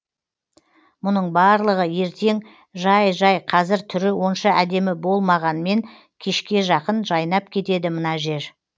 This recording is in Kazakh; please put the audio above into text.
мұның барлығы ертең жай жай қазір түрі онша әдемі болмағанмен кешке жақын жайнап кетеді мына жер